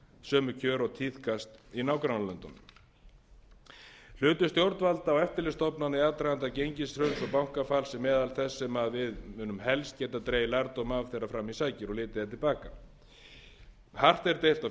sömu kjör og tíðkast í nágrannalöndunum hlutverk stjórnvalda og eftirlitsstofnana í aðdraganda gengishruns og bankafalls er meðal þess sem við munum helst geta dregið lærdóm af þegar fram í sækir og litið er til baka hart er deilt á